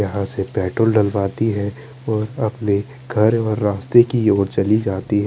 यहाँ से पेट्रोल डलवाती है ओर अपने घर ओर रस्ते की और चली जाती है।